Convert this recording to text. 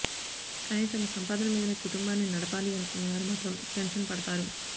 కానీ తమ సంపాదన మీదనే కుటుంబాన్ని నడపాలి అనుకునేవారు మాత్రం టెన్షన్ పడతారు